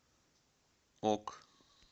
ок